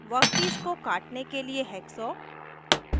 workpiece को काटने के लिए हैक्सॉ